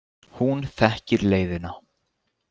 Hún þekkir leiðina.